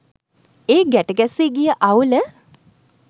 ඒ ගැට ගැසී ගිය අවුල